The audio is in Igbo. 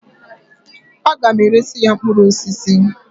A ga m eresi ya mkpụrụ osisi.